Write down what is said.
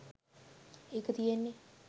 ඒක තියෙන්නේ